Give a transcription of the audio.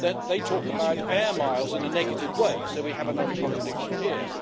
they talk about air miles' in a negative way, so we have another contradiction here.